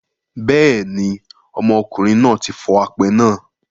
Bẹ́ẹ̀ ni, ọmọkùnrin náà tí fọ apẹ náà.